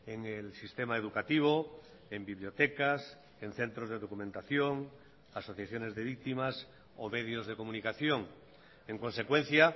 en el sistema educativo en bibliotecas en centros de documentación asociaciones de víctimas o medios de comunicación en consecuencia